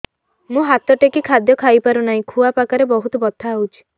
ମୁ ହାତ ଟେକି ଖାଦ୍ୟ ଖାଇପାରୁନାହିଁ ଖୁଆ ପାଖରେ ବହୁତ ବଥା ହଉଚି